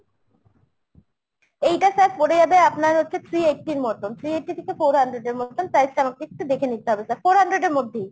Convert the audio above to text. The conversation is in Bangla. এইটা sir পরে যাবে আপনার হচ্ছে three eighty র মতন। three eighty থেকে four hundred এর মতন price টা আমাকে একটু দেখে নিতে হবে sir four hundred এর মধ্যেই।